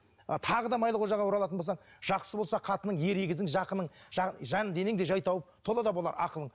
ы тағы да майлықожаға оралатын болсаң жақсы болса қатының ер егізің жақының жан денең де жай тауып тола да болар ақылың